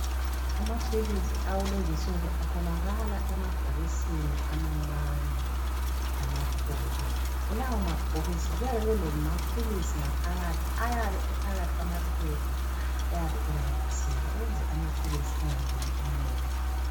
Amaphilisi akulezinsuku atholakala emabhokisini amancane lamakhulu . Kulawo mabhokisi kuyabe kulamaphilisi ngaphakathi ayabe ephakathi kwamaphepha ayabe enamathiselwe ukuze amaphilisi engangeni umoya.